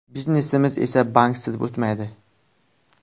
Biznesimiz esa banksiz o‘tmaydi.